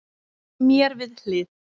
Mér við hlið